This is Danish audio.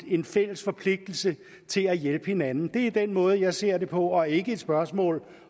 en fælles forpligtelse til at hjælpe hinanden det er den måde jeg ser det på og ikke som et spørgsmål